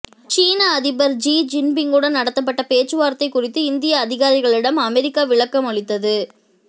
சீன அதிபர் ஜீ ஜின்பிங்குடன் நடத்தப்பட்ட பேச்சுவார்த்தை குறித்து இந்திய அதிகாரிகளிடம் அமெரிக்கா விளக்கம் அளித்தது